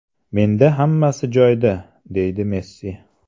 Menda hammasi joyida”, deydi Messi.